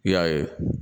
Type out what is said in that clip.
I y'a ye